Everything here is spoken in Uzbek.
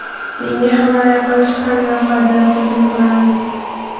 Menga himoya qilish ham yoqadi, hujum qilamiz.